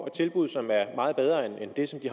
et tilbud som er meget bedre end det som de